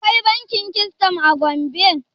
Akwai bankin Keystone a Gombe.